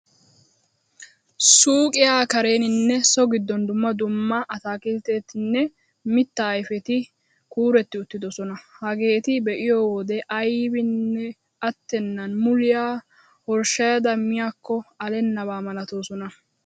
Suuqiyaa kareeninne so giddon dumma dumma atakilttetinne mitta ayfeti kuuretti uttidoosona. Hageeta be'iyo wode aybinne attennan muliyaa horshshayada miyaakko allennaba malatoosona.